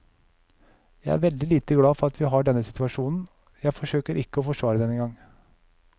Jeg er veldig lite glad for at vi har denne situasjonen, jeg forsøker ikke å forsvare den engang.